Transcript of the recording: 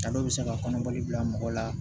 A dɔw bɛ se ka kɔnɔbali bila mɔgɔ la